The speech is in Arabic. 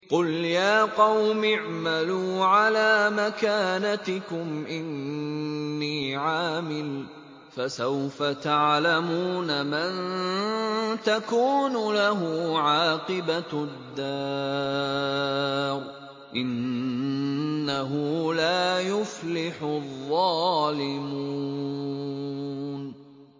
قُلْ يَا قَوْمِ اعْمَلُوا عَلَىٰ مَكَانَتِكُمْ إِنِّي عَامِلٌ ۖ فَسَوْفَ تَعْلَمُونَ مَن تَكُونُ لَهُ عَاقِبَةُ الدَّارِ ۗ إِنَّهُ لَا يُفْلِحُ الظَّالِمُونَ